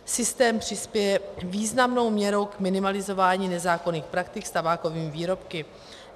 Systém přispěje významnou měrou k minimalizování nezákonných praktik s tabákovými výrobky.